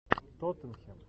тоттенхэм